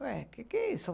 Ué, o que é isso?